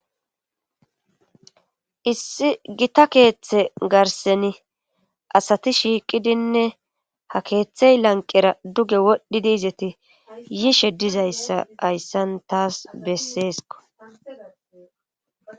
Issi gita keeththe garseni asati shiiqidinne ha keeththey lanqera duge wodhdhidiizeti yiishe dizayssa hayssan taas besseesko.